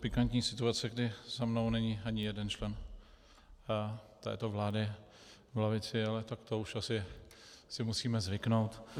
Pikantní situace, kdy za mnou není ani jeden člen této vlády v lavici, ale tak to už asi si musíme zvyknout.